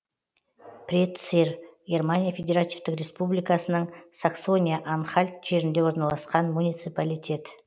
претцир германия федеративтік республикасының саксония анхальт жерінде орналасқан муниципалитет